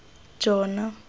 jona